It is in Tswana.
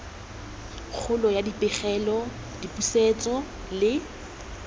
kgolo ya dipegelo dipusetso le